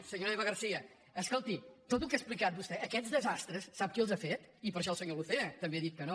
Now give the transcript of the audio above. senyora eva garcía escolti tot el que ha explicat vostè aquests desastres sap qui els ha fet i per això el senyor lucena també ha dit que no